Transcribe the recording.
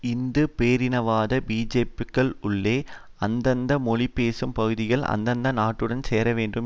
இந்து பேரினவாத பிஜேபிக்குள்ளே அந்தந்த மொழிபேசும் பகுதிகள் அந்தந்த நாட்டுடன் சேரவேண்டும்